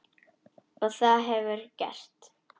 Og það hefurðu gert.